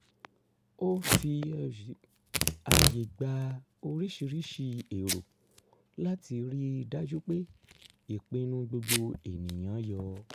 ó fi ààyè gba oríṣirísi èrò láti ríi dájú pé ìpinnu gbogbo ènìyàn-an yọ